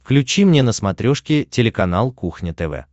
включи мне на смотрешке телеканал кухня тв